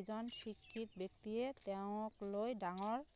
এজন শিক্ষিত ব্যক্তিয়ে তেওঁক লৈ ডাঙৰ